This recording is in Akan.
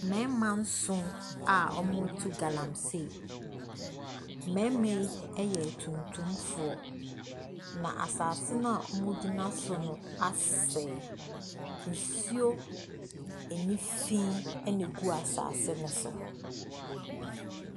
Mmarima nson a wɔretu galamsee. Mmarima yi yɛ atuntumfo. Asase a wogyina so no aseɛ. Nsuo a ani fi na egu asase no so.